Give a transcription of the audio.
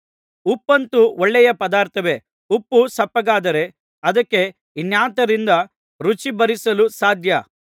ಉಪ್ಪಂತೂ ಒಳ್ಳೆಯ ಪದಾರ್ಥವೇ ಉಪ್ಪು ಸಪ್ಪಗಾದರೆ ಅದಕ್ಕೆ ಇನ್ನಾತರಿಂದ ರುಚಿಬರಿಸಲು ಸಾಧ್ಯ